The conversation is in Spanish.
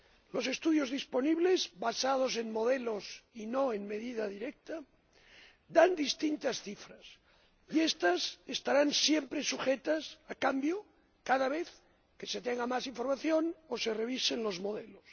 Los estudios disponibles basados en modelos y no en medida directa dan distintas cifras, y estas estarán siempre sujetas a cambio cada vez que se tenga más información o se revisen los modelos.